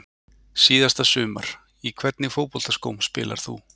Síðasta sumar Í hvernig fótboltaskóm spilar þú?